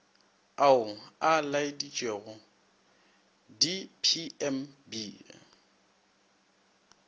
ao a laeditšwego di pmb